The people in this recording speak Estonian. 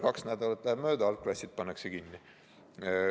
Kaks nädalat läheb mööda, algklassid pannakse kinni.